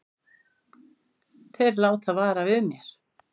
Þeir láta vara við mér.